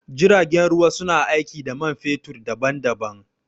Jiragen ruwa su na aiki da man fetur daɓan-daɓan.